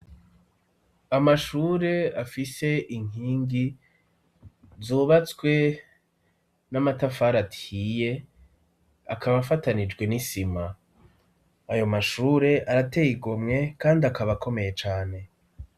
Amashure afise inkingi ,zubatswe n'amatafari ahiye, akaba afatanijwe n'isima, ayo mashure arateye igomwe kandi akaba komeye cane.